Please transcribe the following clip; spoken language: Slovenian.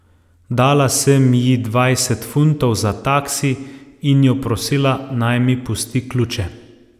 Dala sem ji dvajset funtov za taksi in jo prosila, naj mi pusti ključe.